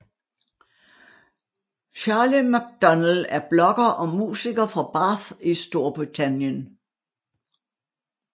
Charlie McDonnell er blogger og musiker fra Bath i Storbritannien